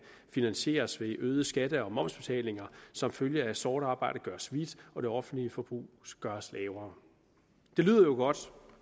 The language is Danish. finansieres ved øgede skatter og momsbetalinger som følge af at sort arbejde gøres hvidt og det offentlige forbrug gøres lavere det lyder jo godt